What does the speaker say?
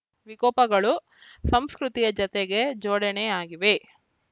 ವಿಕೋಪಗಳು ಸಂಸ್ಕೃತಿಯ ಜತೆಗೆ ಜೋಡಣೆಯಾಗಿವೆ